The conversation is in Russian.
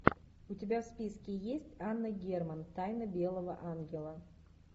у тебя в списке есть анна герман тайна белого ангела